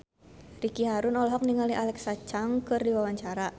Ricky Harun olohok ningali Alexa Chung keur diwawancara